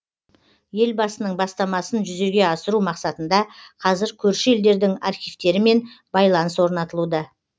елбасының бастамасын жүзеге асыру мақсатында қазір көрші елдердің архивтерімен байланыс орнатылуда